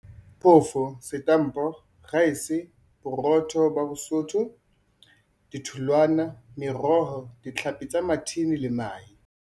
phofo, setampo, raese, boro tho bo bosotho, ditholwana, meroho, ditlhapi tsa mathini le mahe.